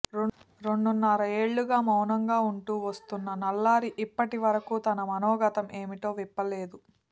రెండున్నరేళ్లుగా మౌనంగా ఉంటూ వస్తున్న నల్లారి ఇప్పటి వరకు తన మనోగతం ఏమిటో విప్పలేదు